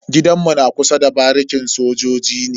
Gidan mu na kusa da barikin sojoji ne.